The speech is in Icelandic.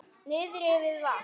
Niðri við vatn?